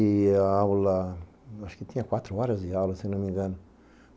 E a aula, acho que tinha quatro horas de aula, se não me engano.